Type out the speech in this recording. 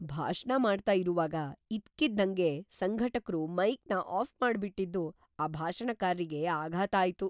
ಭಾಷಣ ಮಾಡ್ತಾ ಇರುವಾಗ ಇದ್ದಕ್ಕಿದ್ದಂಗೆ ಸಂಘಟಕ್ರು ಮೈಕ್‌ನ ಆಫ್‌ ಮಾಡ್ಬಿಟಿದ್ದು ಆ ಭಾಷಣಕಾರ್ರಿಗೆ ಆಘಾತ ಆಯ್ತು.